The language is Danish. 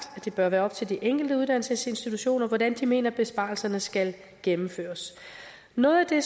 at det bør være op til de enkelte uddannelsesinstitutioner hvordan de mener besparelserne skal gennemføres noget af det